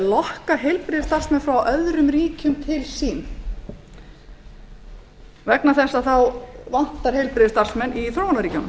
lokka til sín heilbrigðisstarfsmenn frá öðrum ríkjum því að það vantar heilbrigðisstarfsmenn í þróunarríkjunum